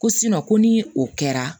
Ko ko ni o kɛra